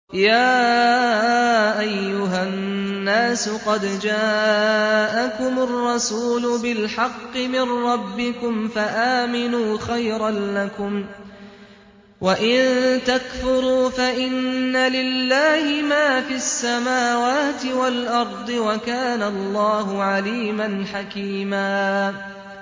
يَا أَيُّهَا النَّاسُ قَدْ جَاءَكُمُ الرَّسُولُ بِالْحَقِّ مِن رَّبِّكُمْ فَآمِنُوا خَيْرًا لَّكُمْ ۚ وَإِن تَكْفُرُوا فَإِنَّ لِلَّهِ مَا فِي السَّمَاوَاتِ وَالْأَرْضِ ۚ وَكَانَ اللَّهُ عَلِيمًا حَكِيمًا